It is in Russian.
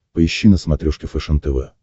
поищи на смотрешке фэшен тв